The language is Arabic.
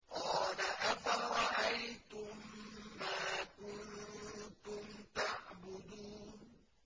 قَالَ أَفَرَأَيْتُم مَّا كُنتُمْ تَعْبُدُونَ